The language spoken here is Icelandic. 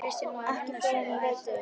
Ekki fyrr en ég leit upp.